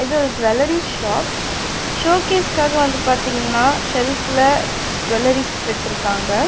இது jewellery shop ஷோக்கேஸ்காக வந்து பாத்தீங்கன்னா செல்ஃப்ல ஜுவல்லரீஸ் வச்சிருக்காங்க.